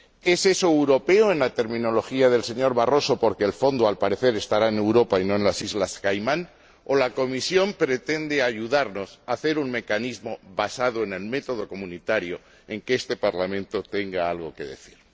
¿Es eso europeo en la terminología del señor Barroso porque el fondo, al parecer, estará en Europa y no en las Islas Caimán, o la Comisión pretende ayudarnos a hacer un mecanismo basado en el método comunitario en el que este Parlamento tenga algo que decir?